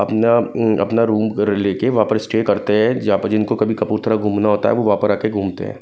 अपना अं अपना रूम लेके वहां पर स्टे करते हैं जहां पर जिनको कभी कपूरथला घूमना होता है वो वहां पर आकर घूमते हैं।